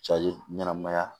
Cali ɲɛnɛmaya